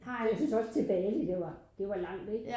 Jeg synes også til Bali det var langt ikke